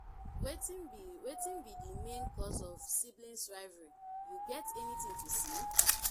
i dey show support by being with dem always lis ten to dem and celebrate their achievement.